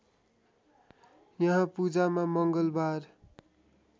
यहाँ पूजामा मङ्गलबार